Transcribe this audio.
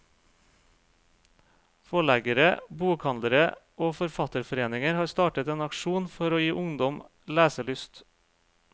Forleggere, bokhandlere og forfatterforeninger har startet en aksjon for å gi ungdom leselyst.